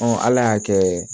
ala y'a kɛ